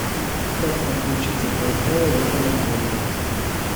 как подключиться к вай фаю в этом отеле